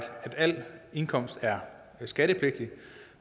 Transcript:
al indkomst er skattepligtig